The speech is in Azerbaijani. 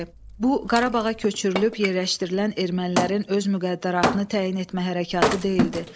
Bu Qarabağa köçürülüb yerləşdirilən ermənilərin öz müqəddəratını təyin etmə hərəkəti deyildi.